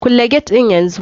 Kulle get din yanzu!